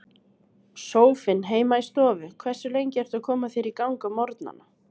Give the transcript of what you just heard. Sófinn heima í stofu Hversu lengi ertu að koma þér í gang á morgnanna?